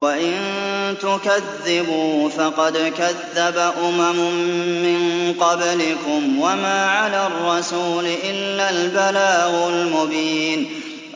وَإِن تُكَذِّبُوا فَقَدْ كَذَّبَ أُمَمٌ مِّن قَبْلِكُمْ ۖ وَمَا عَلَى الرَّسُولِ إِلَّا الْبَلَاغُ الْمُبِينُ